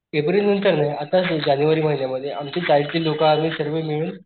April नंतर नाही आत्ताच जानेवारी महिन्या मध्ये आमच्या चाळीतली लोक आम्ही सर्व मिळून,